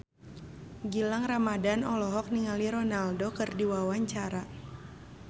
Gilang Ramadan olohok ningali Ronaldo keur diwawancara